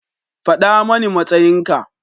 Faɗa mani matsayin ka.